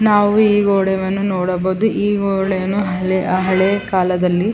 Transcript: ನಾವು ಈ ಗೋಡೌನ್ ಅನ್ನು ನೋಡಬಹುದು ಈ ಗೋಡೆಯನ್ನು ಹಲೆ ಹಳೇಕಾಲದಲ್ಲಿ--